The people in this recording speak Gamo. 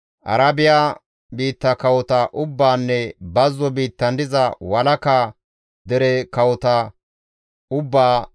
Arabiya biitta kawota ubbaanne bazzo biittan diza walaka dere kawota ubbaa,